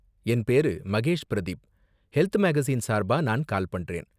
என் பேரு Mahesh Pradeep, health magazine சார்பா நான் கால் பண்றேன்.